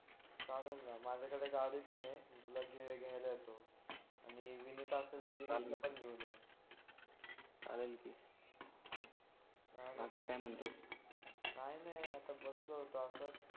चालना माझ्याकडे गाडी पण आहे तुला तुला घ्यायला येतो आणि विनीत असेल तर विनीतला पण घेऊन ये चालेल की बाकी काय म्हणतोस काय नाही आता बसलो होतो असंच